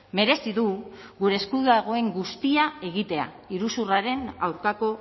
merezi du gure esku dagoen guztia egitea iruzurraren aurkako